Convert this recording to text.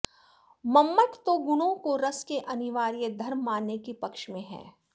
मम्मट तो गुणों को रस के अनिवार्य धर्म मानने के पक्ष में है